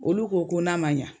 Olu ko ko n'a ma ɲa